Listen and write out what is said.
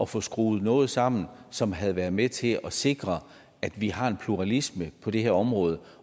få skruet noget sammen som havde været med til at sikre at vi har en pluralisme på det her område